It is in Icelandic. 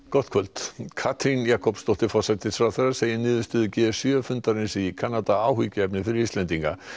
gott kvöld Katrín Jakobsdóttir forsætisráðherra segir niðurstöðu g sjö fundarins í Kanada áhyggjuefni fyrir Íslendinga